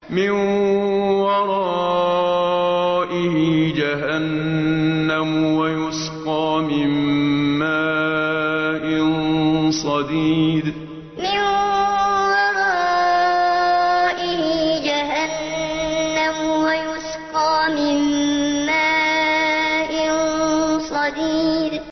مِّن وَرَائِهِ جَهَنَّمُ وَيُسْقَىٰ مِن مَّاءٍ صَدِيدٍ مِّن وَرَائِهِ جَهَنَّمُ وَيُسْقَىٰ مِن مَّاءٍ صَدِيدٍ